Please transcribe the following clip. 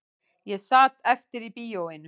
Ég sat eftir í bíóinu